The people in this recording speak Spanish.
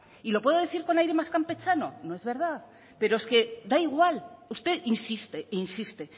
y lo puedo decir con aire más compechano no es verdad pero es que da igual usted insiste insiste